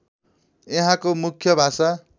यहाँको मुख्य भाषा